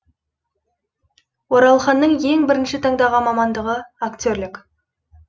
оралханның ең бірінші таңдаған мамандығы актерлік